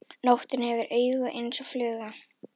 Nóttin hefur augu eins og fluga.